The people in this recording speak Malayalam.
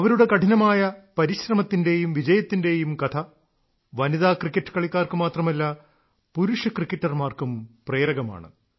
അവരുടെ കഠിനമായ പരിശ്രമത്തിന്റേയും വിജയത്തിന്റേയും കഥ വനിതാ ക്രിക്കറ്റ് കളിക്കാർക്ക് മാത്രമല്ല പുരുഷ ക്രിക്കറ്റർമാർക്കും പ്രേരകമാണ്